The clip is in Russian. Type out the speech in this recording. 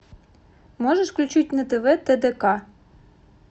можешь включить на тв тдк